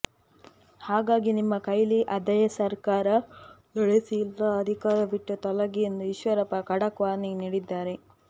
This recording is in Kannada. ಹಾಗಾಗಿ ನಿಮ್ಮ ಕೈಲಿ ಆದರೆ ಸರ್ಕಾರ ನಡೆಸಿ ಇಲ್ಲ ಅಧಿಕಾರ ಬಿಟ್ಟು ತೊಲಗಿ ಎಂದು ಈಶ್ವರಪ್ಪ ಖಡಕ್ ವಾರ್ನಿಂಗ್ ನೀಡಿದ್ದಾರೆ